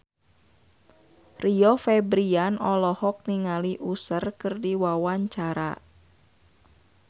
Rio Febrian olohok ningali Usher keur diwawancara